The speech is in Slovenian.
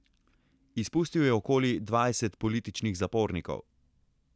Izpustil je okoli dvajset političnih zapornikov.